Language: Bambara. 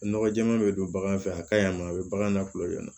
Nɔgɔ jɛɛma be don bagan fɛ a ka ɲi a ma a be bagan na kulonkɛ nɔ